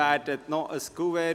Zuerst noch eine Information: